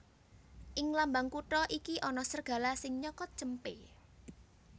Ing lambang kutha iki ana sregala sing nyokot cempé